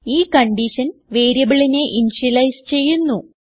ഈ കൺഡിഷൻ വേരിയബിളിനെ ഇനിഷ്യലൈസ് ചെയ്യുന്നു